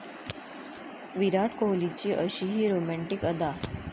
विराट कोहलीची अशीही रोमँटिक अदा!